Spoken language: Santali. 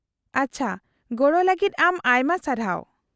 -ᱟᱪᱪᱷᱟ, ᱜᱚᱲᱚ ᱞᱟᱹᱜᱤᱫ ᱟᱢ ᱟᱭᱢᱟ ᱥᱟᱨᱦᱟᱣ ᱾